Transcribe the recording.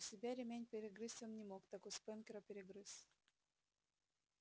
у себя ремень перегрызть он не мог так у спэнкера перегрыз